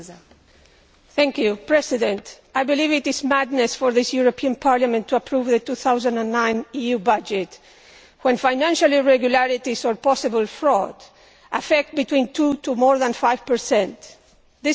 Madam President, I believe it is madness for this European Parliament to approve the 2009 EU budget when financial irregularities or possible fraud affect between 2 and more than 5 of the total.